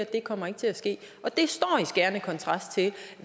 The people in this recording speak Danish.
det kommer ikke til at ske det står i skærende kontrast til